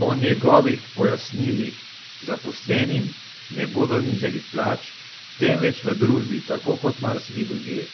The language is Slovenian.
Po njegovih pojasnilih zaposlenim ne bodo znižali plač, temveč v družbi, tako kot marsikje drugje,